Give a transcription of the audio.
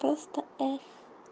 просто ф